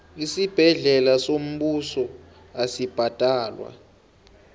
isibhedlela sombuso asibhadalwa